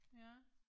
Ja